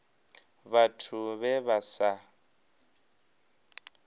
vhathu vhe vha vha sa